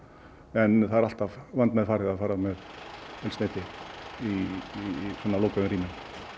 en það er alltaf vandmeðfarið að fara með eldsneyti í svona lokuðum rýmum